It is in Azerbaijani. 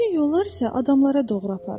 Bütün yollar isə adamlara doğru aparır.